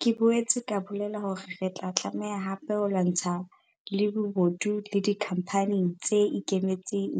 Ke boetse ka bolela hore re tla tlameha hape ho lwantsha le bobodu le dikhampaneng tse ikemetseng